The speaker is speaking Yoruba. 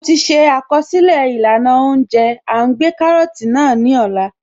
Mo ti ṣe àkọsílẹ̀ ìlànà óúnjẹ À ń gbé kárọ́tì náà ní Ọlá